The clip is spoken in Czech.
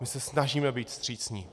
My se snažíme být vstřícní.